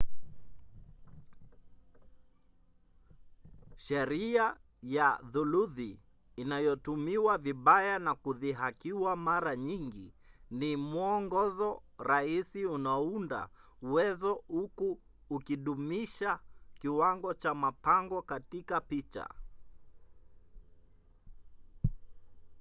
sheria ya thuluthi inayotumiwa vibaya na kudhihakiwa mara nyingi ni mwongozo rahisi unaounda uwezo huku ukidumisha kiwango cha mpango katika picha